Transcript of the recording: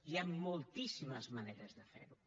hi han moltíssimes maneres de fer ho